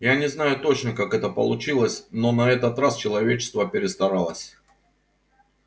я не знаю точно как это получилось но на этот раз человечество перестаралось